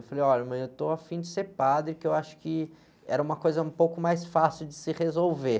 Eu falei, olha mãe, eu estou afim de ser padre, que eu acho que era uma coisa um pouco mais fácil de se resolver.